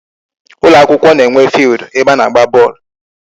Ụlọ akwụkwọ na-enwe field ebe a na-agba bọọlụ.